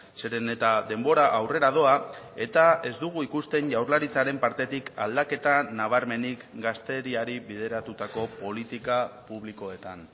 zeren eta denbora aurrera doa eta ez dugu ikusten jaurlaritzaren partetik aldaketa nabarmenik gazteriari bideratutako politika publikoetan